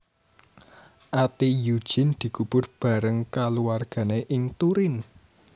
Ati Eugene dikubur bareng kulawargané ing Turin